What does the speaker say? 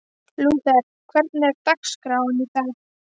Lúther, hvernig er dagskráin í dag?